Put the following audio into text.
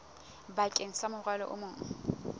bakeng sa morwalo o mong